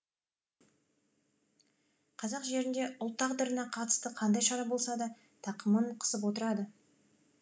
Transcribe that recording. қазақ жерінде ұлт тағдырына қатысты қандай шара болса да тақымын қысып отырады